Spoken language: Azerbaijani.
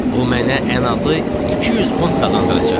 "Bu mənə ən azı 200 funt qazandıracaq."